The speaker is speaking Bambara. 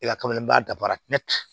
E ka kameleni ba dafara